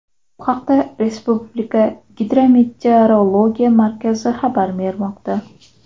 Bu haqda Respublika Gidrometeorologiya markazi xabar bermoqda .